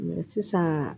sisan